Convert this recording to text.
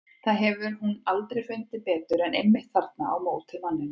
Það hefur hún aldrei fundið betur en einmitt þarna á móti manninum.